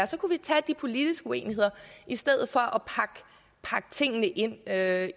så kunne vi tage de politiske uenigheder i stedet for at